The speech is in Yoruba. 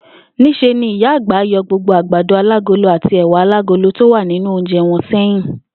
Ní s̩e ni Ìyá àgbà yo̩ gbogbo àgbàdo alágolo àti è̩wà alágolo tó wà nínú oúnje̩ wo̩n sé̩yìn